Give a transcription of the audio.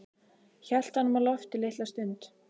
Hélt honum á lofti litla stund.